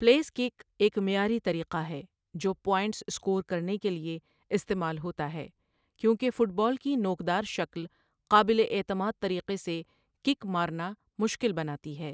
Place kick ایک معیاری طریقہ ہے جو پوائنٹس اسکور کرنے کے لیے استعمال ہوتا ہے، کیونکہ فٹ بال کی نوکدار شکل قابل اعتماد طریقے سے کِک مارنا مشکل بناتی ہے۔